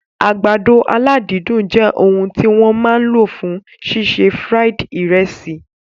Àgbàdo aládídùn jẹ òun tí wọ́n máa lò fún ṣíṣe fried ìrẹsì